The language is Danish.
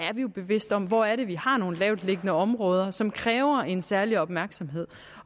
jo bevidste om hvor det er vi har nogle lavtliggende områder som kræver en særlig opmærksomhed